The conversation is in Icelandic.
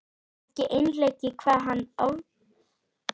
Ekki einleikið hvað hann var ofboðslega var um sig.